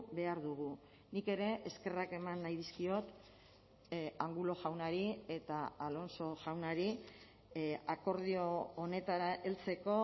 behar dugu nik ere eskerrak eman nahi dizkiot angulo jaunari eta alonso jaunari akordio honetara heltzeko